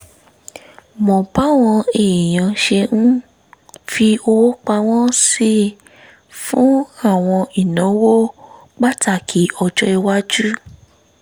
mọ báwọn èèyàn ṣe ń fi owó pamọ́ sí fún àwọn ìnáwó pàtàkì ọjọ́-iwájú